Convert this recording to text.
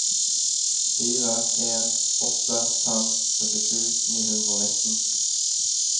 fire en åtte fem syttisju ni hundre og nitten